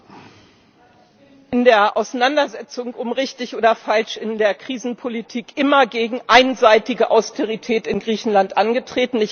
Ich bin in der Auseinandersetzung um richtig oder falsch in der Krisenpolitik immer gegen einseitige Austerität in Griechenland angetreten.